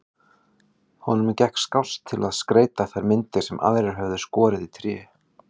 Honum gekk skást að skreyta þær myndir sem aðrir höfðu skorið í tré.